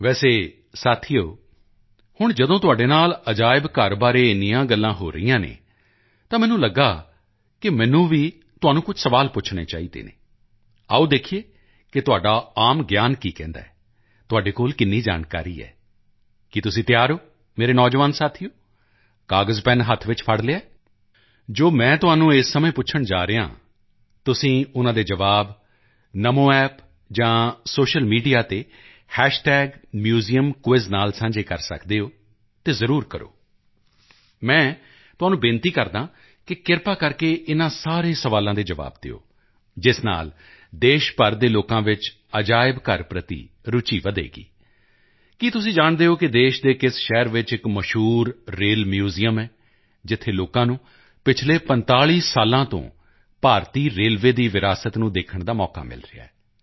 ਵੈਸੇ ਦੋਸਤੋ ਹੁਣ ਜਦੋਂ ਤੁਹਾਡੇ ਨਾਲ ਮਿਊਜ਼ੀਅਮ ਬਾਰੇ ਇੰਨੀਆਂ ਗੱਲਾਂ ਹੋ ਰਹੀਆਂ ਹਨ ਤਾਂ ਮੈਨੂੰ ਲੱਗਾ ਕਿ ਮੈਨੂੰ ਵੀ ਤੁਹਾਨੂੰ ਕੁਝ ਸਵਾਲ ਪੁੱਛਣੇ ਚਾਹੀਦੇ ਹਨ ਆਓ ਦੇਖੀਏ ਕਿ ਤੁਹਾਡਾ ਆਮ ਗਿਆਨ ਕੀ ਕਹਿੰਦਾ ਹੈ ਤੁਹਾਡੇ ਕੋਲ ਕਿੰਨੀ ਜਾਣਕਾਰੀ ਹੈ ਕੀ ਤੁਸੀਂ ਤਿਆਰ ਹੋ ਮੇਰੇ ਨੌਜਵਾਨ ਸਾਥੀਓ ਕਾਗਜ਼ਪੈੱਨ ਹੱਥ ਵਿੱਚ ਪਕੜ ਲਿਆ ਹੈ ਜੋ ਮੈਂ ਤੁਹਾਨੂੰ ਇਸ ਸਮੇਂ ਪੁੱਛਣ ਜਾ ਰਿਹਾ ਹਾਂ ਤੁਸੀਂ ਉਨ੍ਹਾਂ ਦੇ ਜਵਾਬ ਨਮੋ ਐਪ ਜਾਂ ਸੋਸ਼ਲ ਮੀਡੀਆ ਤੇ ਮਿਊਜ਼ੀਅਮਕੁਇਜ਼ ਨਾਲ ਸਾਂਝੇ ਕਰ ਸਕਦੇ ਹੋ ਅਤੇ ਜ਼ਰੂਰ ਕਰੋ ਮੈਂ ਤੁਹਾਨੂੰ ਬੇਨਤੀ ਕਰਦਾ ਹਾਂ ਕਿ ਕਿਰਪਾ ਕਰਕੇ ਇਨ੍ਹਾਂ ਸਾਰੇ ਸਵਾਲਾਂ ਦੇ ਜਵਾਬ ਦਿਓ ਇਸ ਨਾਲ ਦੇਸ਼ ਭਰ ਦੇ ਲੋਕਾਂ ਵਿੱਚ ਮਿਊਜ਼ੀਅਮ ਪ੍ਰਤੀ ਰੁਚੀ ਵਧੇਗੀ ਕੀ ਤੁਸੀਂ ਜਾਣਦੇ ਹੋ ਕਿ ਦੇਸ਼ ਦੇ ਕਿਸ ਸ਼ਹਿਰ ਵਿੱਚ ਇੱਕ ਮਸ਼ਹੂਰ ਰੇਲ ਮਿਊਜ਼ੀਅਮ ਹੈ ਜਿੱਥੇ ਲੋਕਾਂ ਨੂੰ ਪਿਛਲੇ 45 ਸਾਲਾਂ ਤੋਂ ਭਾਰਤੀ ਰੇਲਵੇ ਦੀ ਵਿਰਾਸਤ ਨੂੰ ਦੇਖਣ ਦਾ ਮੌਕਾ ਮਿਲ ਰਿਹਾ ਹੈ